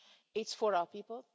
It's for our people.